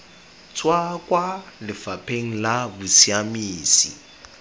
tswa kwa lefapheng la bosiamisi